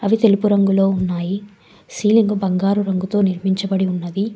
ఇది తెలుపు రంగులో ఉన్నాయి సీలింగ్ బంగారు రంగుతో నిర్మించబడి ఉన్నది.